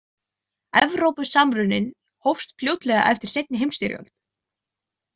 Evrópusamruninn hófst fljótlega eftir seinni heimsstyrjöld.